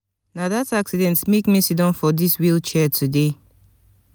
na dat accident make me siddon for dis wheel chair today.